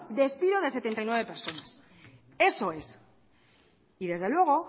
despido de setenta y nueve personas eso es y desde luego